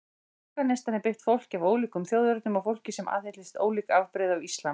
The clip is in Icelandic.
Afganistan er byggt fólki af ólíkum þjóðernum og fólki sem aðhyllist ólík afbrigði af islam.